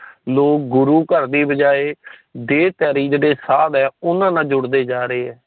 ਲੋਕ ਗੁਰੂ ਘਰ ਦੀ ਬਜਾਏ ਦੇਹ ਧਾਰੀ ਜੇੜੇ ਸਾਦ ਆ ਉਨ੍ਹਾਂ ਨਾਲ ਜੁੜਦੇ ਜਾਂ ਰਹੀਏ।